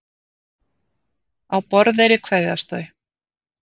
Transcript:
Á Borðeyri kveðjast þau.